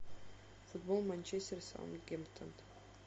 футбол манчестер саутгемптон